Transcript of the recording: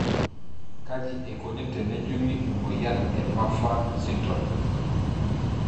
Kaji eikoni tenejungi emoyian e Marfan syndrome?